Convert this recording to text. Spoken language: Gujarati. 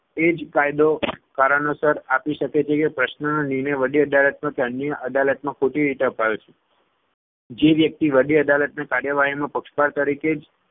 એ જ કાયદો કારણોસર આપી શકે છે કે પ્રશ્નનો નિર્ણય વડી અદાલતમાં કે અન્ય અદાલતમાં ખોટી રીતે અપાયો છે. જે વ્યક્તિ વડી અદાલતની કાર્યવાહીમાં પક્ષકાર તરીકે જ